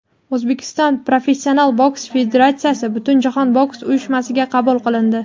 O‘zbekiston professional boks federatsiyasi Butunjahon boks uyushmasiga qabul qilindi.